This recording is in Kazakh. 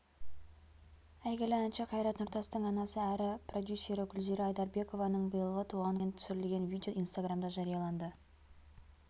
әйгілі әнші қайрат нұртастың анасы әрі продюсері гүлзира айдарбекованың биылғы туған күнінен түсірілген видео инстаграмда жарияланды